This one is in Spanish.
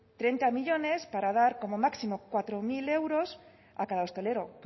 treinta millónes para dar como máximo cuatro mil euros a cada hostelero